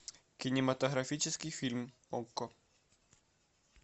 кинематографический фильм окко